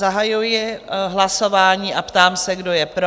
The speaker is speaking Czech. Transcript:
Zahajuji hlasování a ptám se, kdo je pro?